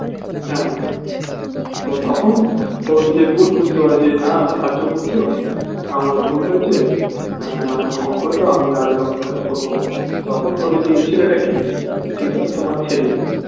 হ্যাঁ তো তখন ও নিজের ভুল বুঝতে পারে যে না আর্য পুত্র আমার ভুল হয়েছে আহ আমায় ক্ষমা করে দাও আমি আর এরকম কাজ করবো না তখন বলে যে এই ছেলেটা কে ইটা তো তোমার ছেলে